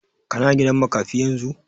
Ka na gidan makafi yanzu?